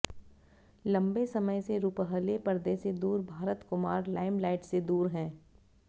लंबे समय से रुपहले पर्दे से दूर भारत कुमार लाइमलाईट से दूर हैं